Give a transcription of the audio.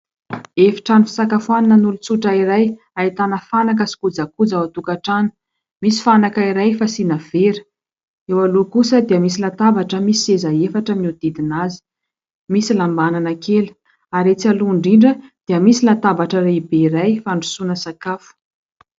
Efitrano fisakafoananan'olon-tsotra iray ahitana fanaka sy kojakoja ao an-tokatrano. Misy fanaka iray fasiana vera. Eo aloha kosa dia misy latabatra misy seza efatra mihodidina azy ; misy lambanana kely ary etsy aloha indrindra dia misy latabatra iray lehibe iray fandrosoana sakafo.